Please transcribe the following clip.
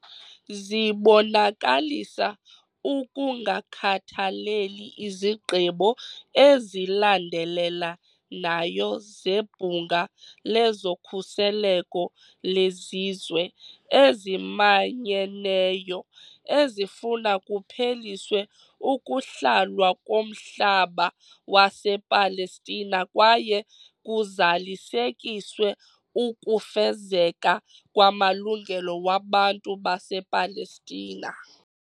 Zibonakalisa ukungakhathaleli izigqibo ezilandelela nayo zeBhunga lezoKhuseleko leZizwe eziManyeneyo ezifuna kupheliswe ukuhlalwa komhlaba wasePalestina kwaye kuzalisekiswe ukufezeka kwamalungelo wabantu basePalestina.